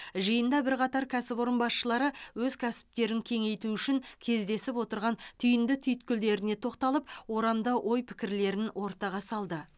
жиында бірқатар кәсіпорын басшылары өз кәсіптерін кеңейту үшін кездесіп отырған түйінді түйткілдерін тоқталып орамды ой пікірлерін ортаға салды